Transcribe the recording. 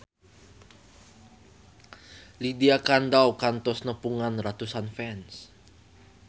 Lydia Kandou kantos nepungan ratusan fans